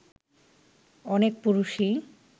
অনেক পুরুষই